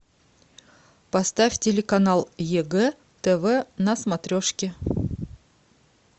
поставь телеканал егэ тв на смотрешке